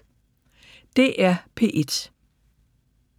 DR P1